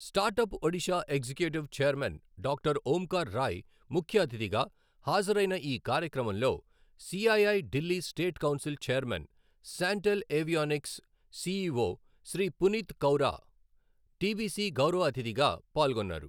Startup Odisha executive chairman doctor Omkar Rai ముఖ్యఅతిథిగా హాజరైన ఈ కార్యక్రమంలో CII Delhi state council chairman, Shantel Avionics CEO Shri Puneet Kaura TBC గౌరవ అతిథిగా పాల్గొన్నారు.